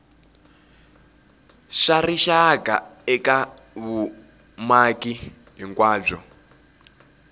swa rixaka eka vumaki hinkwabyo